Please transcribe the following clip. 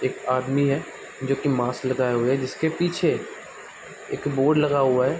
एक आदमी है जो की मास्क लगाए हुए है जिसके पीछे एक बोर्ड लगा हुआ है।